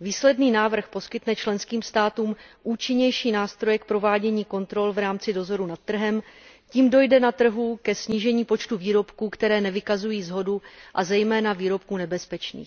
Výsledný návrh poskytne členským státům účinnější nástroje k provádění kontrol v rámci dozoru nad trhem, tím dojde na trhu ke snížení počtu výrobků, které nevykazují shodu, a zejména výrobků nebezpečných.